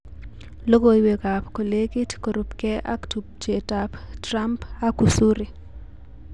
Logoiwek ab kolekit korubkee ak tubjetab Trump ak Usuri